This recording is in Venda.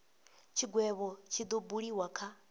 tshigwevho tshi do buliwa kha